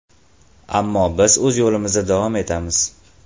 Ammo biz o‘z yo‘limizda davom etamiz.